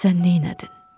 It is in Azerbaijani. Sən neylədin?